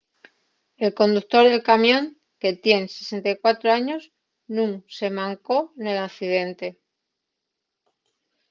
el conductor del camión que tien 64 años nun se mancó nel accidente